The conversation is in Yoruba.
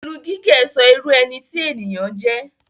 Irun gígẹ̀ sọ irú ẹni tí ènìyàn jẹ́.